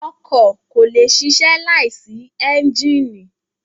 Ọkọ ko le sisẹ laisi ẹnjínì